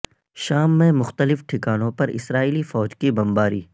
شام میں مختلف ٹھکانوں پر اسرائیلی فوج کی بمباری